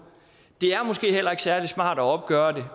det er måske heller ikke særlig smart at opgøre det